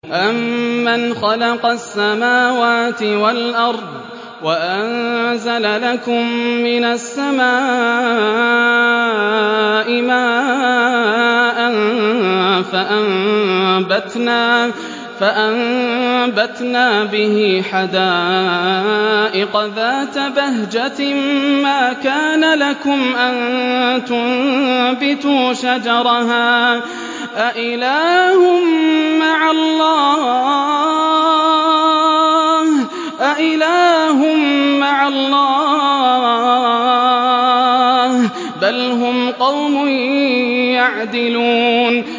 أَمَّنْ خَلَقَ السَّمَاوَاتِ وَالْأَرْضَ وَأَنزَلَ لَكُم مِّنَ السَّمَاءِ مَاءً فَأَنبَتْنَا بِهِ حَدَائِقَ ذَاتَ بَهْجَةٍ مَّا كَانَ لَكُمْ أَن تُنبِتُوا شَجَرَهَا ۗ أَإِلَٰهٌ مَّعَ اللَّهِ ۚ بَلْ هُمْ قَوْمٌ يَعْدِلُونَ